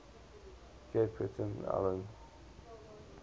cape breton island